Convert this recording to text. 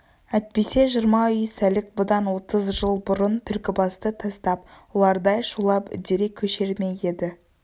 әйтпесе жиырма үй сәлік бұдан отыз жыл бұрын түлкібасты тастап ұлардай шулап үдере көшер ме еді